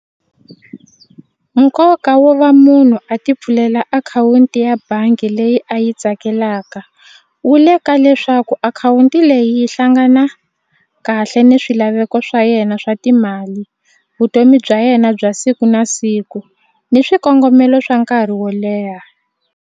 Nkoka wo va munhu a ti pfulela akhawunti ya bangi leyi a yi tsakelaka wu le ka leswaku akhawunti leyi yi hlangana kahle ni swilaveko swa yena swa timali vutomi bya yena bya siku na siku ni swikongomelo swa nkarhi wo leha.